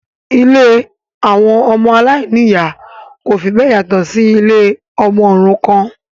Ilé àwọn aláìní-ìyá kò fi bẹ́ẹ̀ yàtọ̀ sí si ilé àwọn ọmọ òrukàn